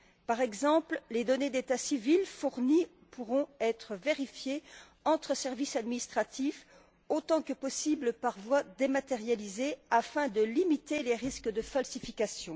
Par exemple, les données d'état civil fournies pourront être vérifiées entre services administratifs autant que possible par voie dématérialisée, afin de limiter les risques de falsification.